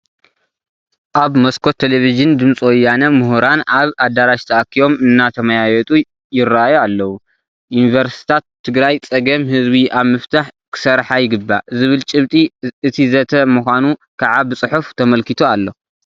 ኣብ መስኮት ቴለቪዥን ድምፂ ወያነ ምሁራን ኣብ ኣዳራሽ ተኣኪቦም እንትመያየጡ ይርአዩ ኣለዉ፡፡ ዩኒቨርሲታት ትግራይ ፀገም ህዝቢ ኣብ ምፍታሕ ክሰርሓ ይግባእ ዝብል ጭብጢ እቲ ዘተ ምዃኑ ከዓ ብፅሑፍ ተመልኪቱ ኣሎ፡፡